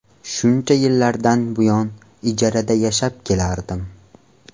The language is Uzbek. Shuncha yillardan buyon ijarada yashab kelardim.